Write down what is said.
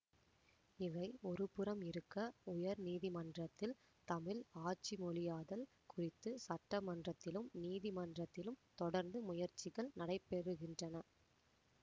இவை ஒருபுறம் இருக்க உயர் நீதிமன்றத்தில் தமிழ் ஆட்சிமொழியாதல் குறித்து சட்டமன்றத்திலும் நீதிமன்றத்திலும் தொடர்ந்து முயற்சிகள் நடைபெறுகின்றன